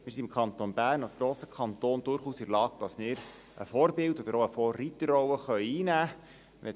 Wir sind im Kanton Bern als grosser Kanton durchaus in der Lage, eine Vorbild- oder Vorreiterrolle einzunehmen.